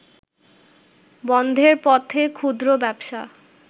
বন্ধের পথে ক্ষুদ্র ব্যবসা